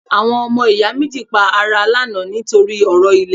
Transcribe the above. Àwọn ọmọ ìyá méjì pa ara lánàá ní torí ọ̀rọ̀ ilẹ̀